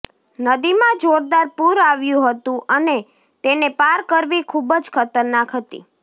નદીમાં જોરદાર પૂર આવ્યું હતું અને તેને પાર કરવી ખુબ જ ખતરનાક હતી